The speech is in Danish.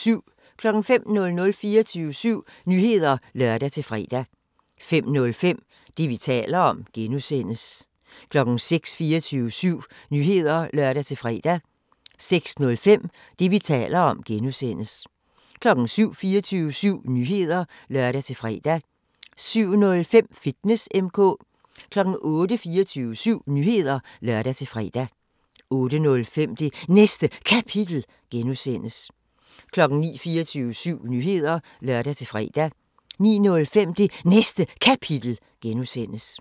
05:00: 24syv Nyheder (lør-fre) 05:05: Det, vi taler om (G) 06:00: 24syv Nyheder (lør-fre) 06:05: Det, vi taler om (G) 07:00: 24syv Nyheder (lør-fre) 07:05: Fitness M/K 08:00: 24syv Nyheder (lør-fre) 08:05: Det Næste Kapitel (G) 09:00: 24syv Nyheder (lør-fre) 09:05: Det Næste Kapitel (G)